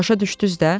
Başa düşdüz də?